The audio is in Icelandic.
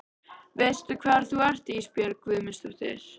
Veistu hvar þú ert Ísbjörg Guðmundsdóttir?